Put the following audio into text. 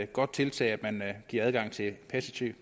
godt tiltag at man giver adgang til passiv